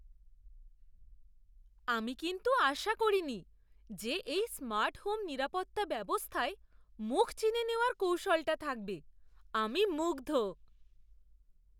আমি কিন্তু আশা করিনি যে এই স্মার্ট হোম নিরাপত্তা ব্যবস্থায় মুখ চিনে নেওয়ার কৌশলটা থাকবে। আমি মুগ্ধ!